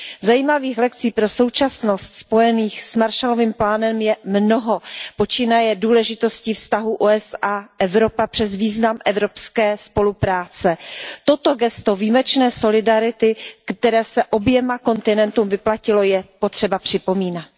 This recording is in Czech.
Zajímavých lekcí pro současnost spojených s Marshallovým plánem je mnoho počínaje důležitostí vztahů USA Evropa přes význam evropské spolupráce. Toto gesto výjimečné solidarity, které se oběma kontinentům vyplatilo, je potřeba připomínat.